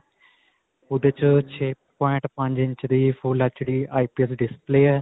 ਓਹਦੇ 'ਚ ਛੇ ਪੋਇੰਟ ਪੰਜ ਇੰਚ ਦੀ full HD IPS display ਹੈ.